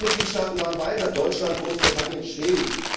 Manche Mitgliedstaaten waren weiter Deutschland, Großbritannien, Schweden.